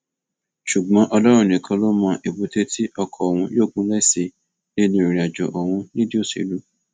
ṣùgbọn ọlọrun nìkan ló mọ èbúté tí ọkọ òun yóò gúnlẹ sí nínú ìrìnàjò òun nídìí òṣèlú